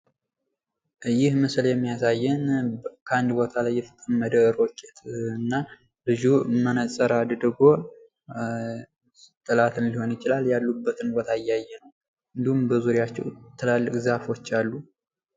ይህ ምስል የሚያሳየን ከአንድ ቦታ ላይ የተጠመደ ሮኬት እና ልጁ መነጽር አድርጎ እያየ ጠላትን ሊሆን ይችላል እንዲሁም በዙሪያቸው ትላልቅ ዛፎች አሉ።